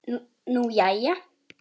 Nú, jæja?